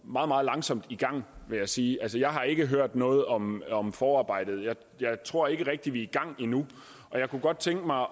meget meget langsomt i gang vil jeg sige altså jeg har ikke hørt noget om om forarbejdet jeg tror ikke rigtig vi er i gang endnu og jeg kunne godt tænke mig